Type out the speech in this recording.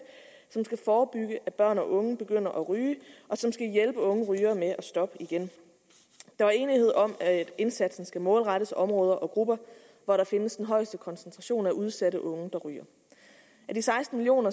som skal forebygge at børn og unge begynder at ryge og som skal hjælpe unge rygere med at stoppe igen der var enighed om at indsatsen skal målrettes områder og grupper hvor der findes den højeste koncentration af udsatte unge der ryger af de seksten million